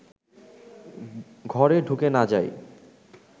ঘরে ঢুকে না যাই